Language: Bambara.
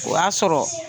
O y'a sɔrɔ